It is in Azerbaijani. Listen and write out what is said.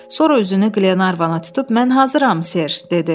Sonra üzünü Qlenarvana tutub mən hazıram, ser, dedi.